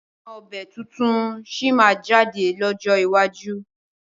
Àwọn ọbẹ̀ tuntun sí máa jáde lọ́jọ́ iwájú